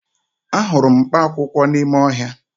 Ahụrụ m mkpaakwụkwọ n'ime ọhịa